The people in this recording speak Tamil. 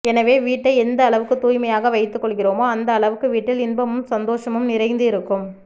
எனவே வீட்டை எந்த அளவுக்கு தூய்மையாக வைத்து கொள்கிறோமோ அந்த அளவுக்கு வீட்டில் இன்பமும் சந்தோஷமும் நிறைந்து இருக்கும்